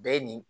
Bɛɛ nin